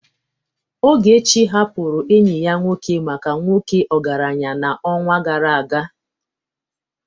Ogechi hapụrụ enyi ya nwoke maka nwoke ọgaranya n'ọnwa gara aga.